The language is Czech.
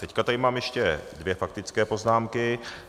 Teď tady mám ještě dvě faktické poznámky.